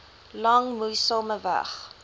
lang moeisame weg